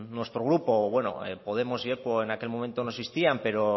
nuestro grupo bueno podemos y en aquel momento no existían pero